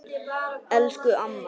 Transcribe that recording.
Elsku amma!